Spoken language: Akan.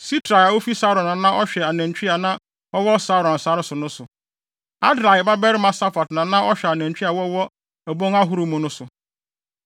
Sitrai a ofi Saron na na ɔhwɛ anantwi a na wɔwɔ Saron sare so no so. Adlai babarima Safat na na ɔhwɛ anantwi a wɔwɔ abon ahorow mu no so.